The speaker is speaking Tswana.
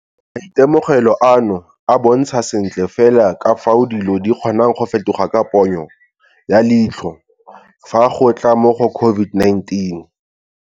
Maitemogelo ano a bontsha sentle fela ka fao dilo di kgonang go fetoga ka ponyo ya leitlho fa go tla mo go COVID-19.